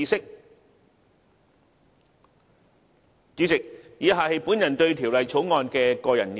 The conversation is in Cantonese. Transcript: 代理主席，以下是我對《條例草案》的個人意見。